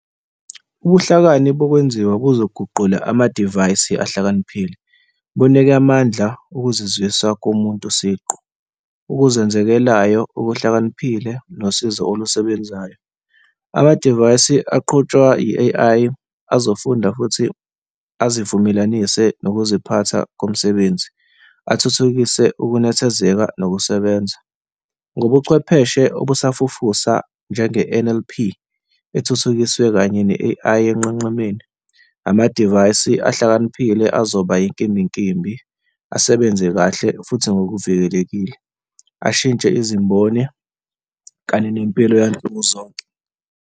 Ubuhlakani bokwenziwa kuzoguquka amadivayisi ahlakaniphile, bunike amandla ukuzizwisa komuntu siqu, ukuzenzekelayo okuhlakaniphile nosizo olusebenzayo. Amadivayisi aqhutshwa i-A_I azofunda futhi azivumelanisa nokuziphatha komsebenzi, athuthukise ukunethezeka nokusebenza. Ngobuchwepheshe obusafufusa njenge-N_L_P ethuthukisiwe kanye ne-A_I onqenqemeni, amadivayisi ahlakaniphile, azoba inkimbinkimbi, asebenze kahle futhi ngokuvikelekile, ashintshe izimboni kanye nempilo yansuku zonke.